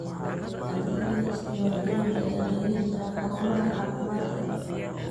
Adeegyada isdiiwaangelinta ayaa laga heli karaa xarumaha caafimaadka.